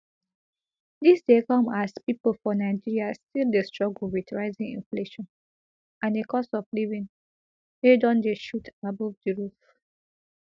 dis dey come as pipo for nigeria still dey struggle wit rising inflation and a cost of living wey don dey shoot above di roof